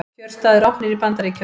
Kjörstaðir opnir í Bandaríkjunum